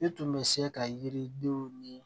I tun bɛ se ka yiridenw ni